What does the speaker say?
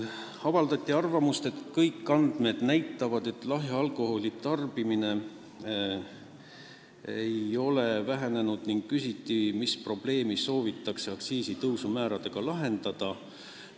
Avaldati arvamust, et kõik andmed näitavad, et lahja alkoholi tarbimine ei ole vähenenud, ning küsiti, mis probleemi soovitakse aktsiisitõusuga lahendada.